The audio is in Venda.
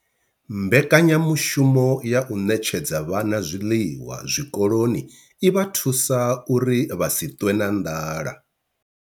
Mbekanya mushumo ya u ṋetshedza vhana zwiḽiwa zwikoloni i vha thusa uri vha si ṱwe na nḓala.